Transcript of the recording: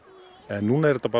núna er þetta